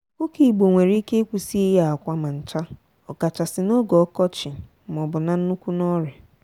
ọkụkọ igbo nwere ike ịkwụsị ịye akwa ma ncha okachasi n'oge okochi maọbu na nnukwu n'ọrịa.